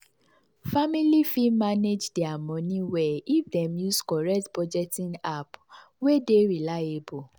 family fit manage their money well if dem use correct budgeting app wey dey reliable.